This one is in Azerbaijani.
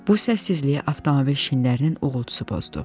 Bu səssizliyi avtomobil şinlərinin uğultusu pozdu.